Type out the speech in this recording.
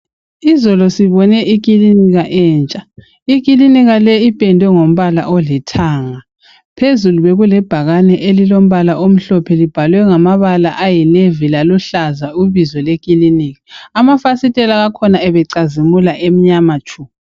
Izolo sibone ikilinika entsha. Ikilinika le ipendwe ngombala olithanga. Phezulu bekulebhakane elilombala omhlophe libhalwe ngamabala ayi navy laluhlaza ibizo lekilinika amafasitela akhona abecazimula emnyama tshu.